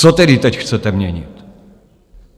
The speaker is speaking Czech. Co tedy teď chcete měnit?